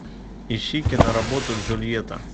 ищи киноработу джульетта